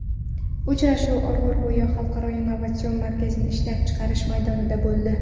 Uchrashuv Orolbo‘yi xalqaro innovatsion markazining ishlab chiqarish maydonida bo‘ldi.